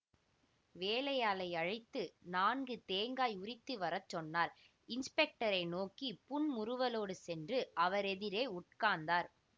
வேலையாளை அழைத்து நான்கு தேங்காய் உரித்துவரச் சொன்னார் இன்ஸ்பெக்டரை நோக்கி புன்முறுவலோடு சென்று அவரெதிரே உட்கார்ந்தார்